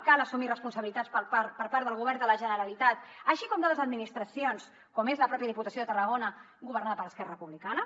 cal assumir responsabilitats per part del govern de la generalitat així com de les administracions com és la mateixa diputació de tarragona governada per esquerra republicana